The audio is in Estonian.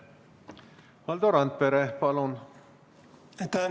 Valdo Randpere, palun!